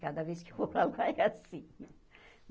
Cada vez que eu vou para lá é assim.